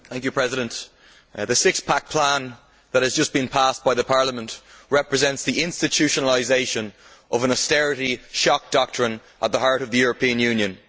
Mr President, the six pack plan that has just been passed by Parliament represents the institutionalisation of an austerity shock doctrine at the heart of the European Union.